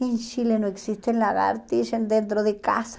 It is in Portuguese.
Em Chile não existem lagartixas dentro de casa.